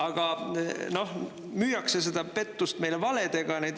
Aga noh, müüakse seda pettust meile valedega.